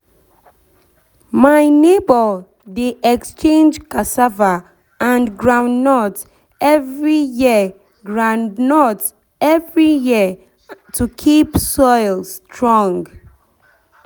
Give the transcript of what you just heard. my neighbour dey exchange cassava and groundnut every year groundnut every year to keep soil strong